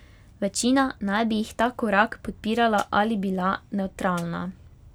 Večina naj bi jih ta korak podpirala ali bila nevtralna.